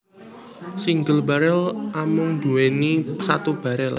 Single barel amung nduweni satu barel